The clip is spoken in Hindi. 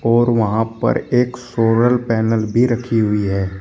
और वहां पर एक सोलर पैनल भी रखी हुई है।